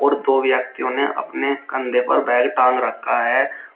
और दो व्यक्तियों ने अपने कंधे पर बैग टांग रखा है।